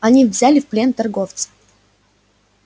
они взяли в плен торговца